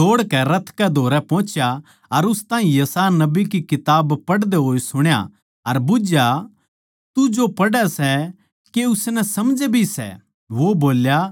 फिलिप्पुस दौड़ कै रथ कै धोरै पोहचा अर उस ताहीं यशायाह नबी की किताब पढ़दे होए सुण्या अर बुझ्झया तू जो पढ़ै सै के उसनै समझै भी सै